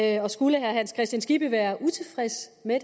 jeg og skulle herre hans kristian skibby være utilfreds med